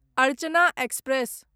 Archana express